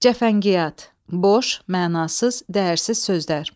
Cəfəngiyat, boş, mənasız, dəyərsiz sözlər.